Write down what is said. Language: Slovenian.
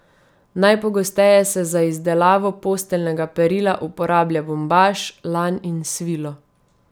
Najpogosteje se za izdelavo posteljnega perila uporablja bombaž, lan, in svilo.